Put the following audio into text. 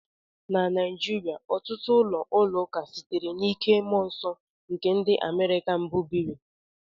Na Naijiria, ọtụtụ ụlọ esp ụlọ ụka sitere n'ike mmụọ nsọ nke ndị America mbụ biri.